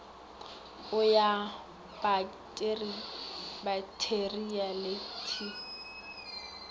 o ya baktheria le t